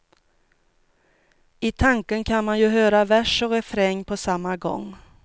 I tanken kan man ju höra vers och refräng på samma gång.